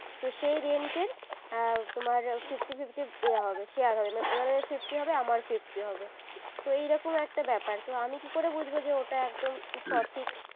তো সেই rent এর তোমার fifty fifty ইয়ে হবে share হবে উনাদের fifty হবে আমার ও fifty হবে তো এইরকম একটা ব্যাপার তো আমি কি করে বুঝবো যে ওটা একদম সঠিক উহ